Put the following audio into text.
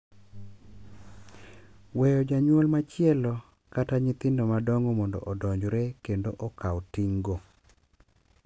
Weyo janyuol machielo kata kata nyithindo madongo mondo odonjre kendo okaw ting’go.